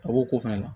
A b'o ko fana la